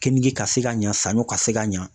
Keninge ka se ka ɲa, saɲɔ ka se ka ɲa .